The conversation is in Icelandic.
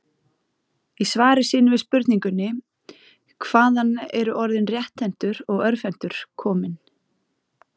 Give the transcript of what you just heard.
Í svari sínu við spurningunni Hvaðan eru orðin rétthentur og örvhentur komin?